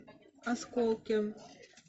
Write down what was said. осколки